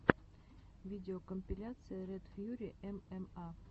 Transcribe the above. видеокомпиляция ред фьюри эмэма